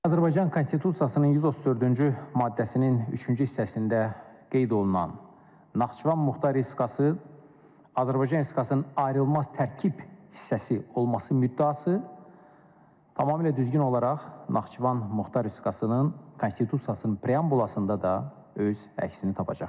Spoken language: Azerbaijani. Azərbaycan Konstitusiyasının 134-cü maddəsinin üçüncü hissəsində qeyd olunan Naxçıvan Muxtar Respublikası Azərbaycan Respublikasının ayrılmaz tərkib hissəsi olması müddəası tamamilə düzgün olaraq Naxçıvan Muxtar Respublikasının Konstitusiyasının preambulasında da öz əksini tapacaqdır.